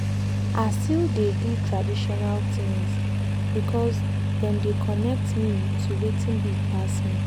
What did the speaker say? i still dey do traditional things because dem dey connect me to watin big pass me.